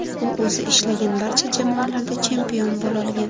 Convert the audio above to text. U o‘zi ishlagan barcha jamoalarda chempion bo‘lolgan.